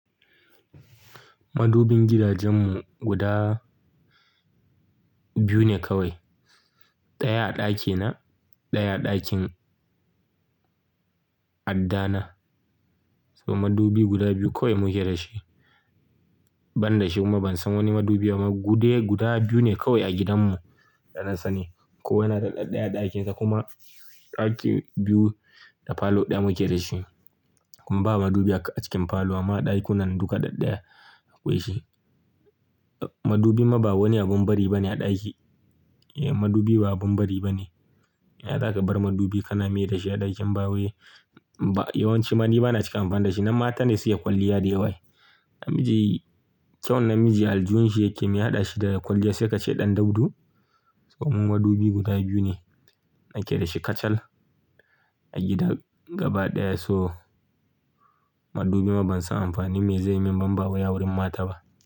Madubin gidajenmu guda biyu ne kawai. Ɗaya a ɗakina, ɗaya a ɗakin addana. So madubi guda biyu kawai muke da shi. Ban da shi kuma ban san wani madubi ba. Mabudai guda biyu ne kawai a gidanmu da na sani. Kowa yana da ɗaya daya a ɗakinsa kuma ɗaki biyu da falo ɗaya muke da shi. Kuma ba madubi a cikin falo amma ɗakunan duka ɗadɗaya akwai shi. Madubi ma ba wani abin bari ba ne a ɗaki. Madubi ba abin bari ba ne. Yaya za ka bar madubi ka na me da shi a ɗaki in ba wai? Ba yawanci madubi bana cika amfani da shi, na mata ne suke kwalliya da yawa ai. Namiji kyau namiji aljihunshi yake miya haɗa shi da kwalliya sai ka ce ɗan daudu. Ko mu madubi guda biyu ne muke da shi kacal a gidan gaba ɗaya. So madubi ma ban san amfani me zai min ba, in ba wai a wurin mata ba.